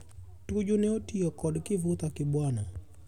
Tuju ne otio kod Kivutha Kibwana.